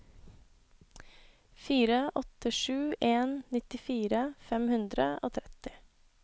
fire åtte sju en nittifire fem hundre og tretti